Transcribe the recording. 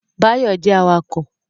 Báyọ̀ jẹ́ awakọ̀